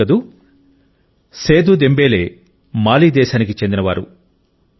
బాగుంది కదా Seydou Dembele Mali దేశానికి చెందినవారు